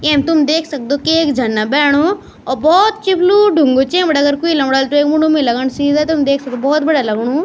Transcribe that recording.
येम तुम देख सक्दो की एक झरना भेणु और भोत चिफ्लू ढुंगु च यम बटेक कुई लम्डल त वेक मुंड म ही लगन सीधा तूम देख सकदा भोत बढ़िया लगनु।